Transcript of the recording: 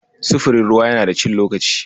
Sufurin ruwa yana da cin lokaci.